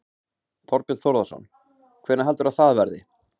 Þorbjörn Þórðarson: Hvenær heldurðu að það verði?